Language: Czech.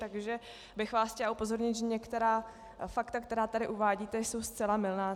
Takže bych vás chtěla upozornit, že některá fakta, která tady uvádíte, jsou zcela mylná.